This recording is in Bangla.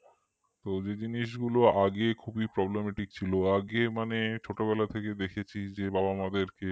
এই জিনিসগুলো আগে খুবই problematic ছিল আগে মানে ছোটবেলা থেকে দেখেছি যে বাবা মাদেরকে